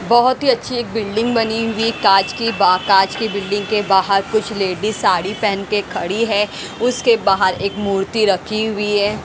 बहुत ही अच्छी एक बिल्डिंग बनी हुई है कांच की कांच की बिल्डिंग के बाहर कुछ लेडीज साड़ी पहन के खड़ी है उसके बाहर एक मूर्ती रखी हुई है।